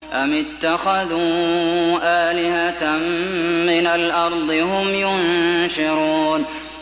أَمِ اتَّخَذُوا آلِهَةً مِّنَ الْأَرْضِ هُمْ يُنشِرُونَ